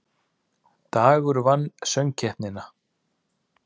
Dagur vann Söngkeppnina